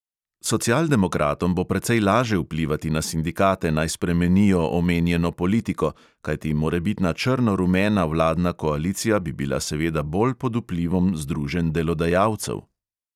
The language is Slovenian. Socialdemokratom bo precej laže vplivati na sindikate, naj spremenijo omenjeno politiko, kajti morebitna črno-rumena vladna koalicija bi bila seveda bolj pod vplivom združenj delodajalcev.